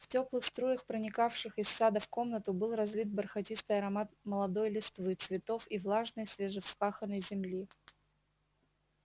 в тёплых струях проникавших из сада в комнату был разлит бархатистый аромат молодой листвы цветов и влажной свежевспаханной земли